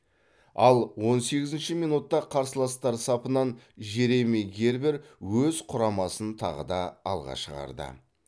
ал он сегізінші минутта қарсыластар сапынан жереми гербер өз құрамасын тағы да алға шығарды